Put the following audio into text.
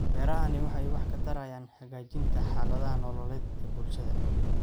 Beerahani waxay wax ka tarayaan hagaajinta xaaladaha nololeed ee bulshada.